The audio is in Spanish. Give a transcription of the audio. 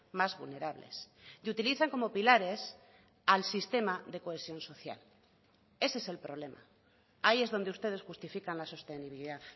más vulnerables y utilizan como pilares al sistema de cohesión social ese es el problema ahí es donde ustedes justifican la sostenibilidad